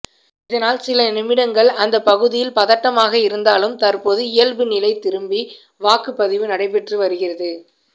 இதனால் சில நிமிடங்கள் அந்த பகுதியில் பதட்டமாக இருந்தாலும் தற்போது இயல்பு நிலை திரும்பி வாக்குப்பதிவு நடைபெற்று வருகிறது